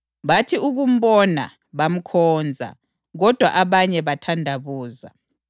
Bathi ukumbona bamkhonza; kodwa abanye bathandabuza.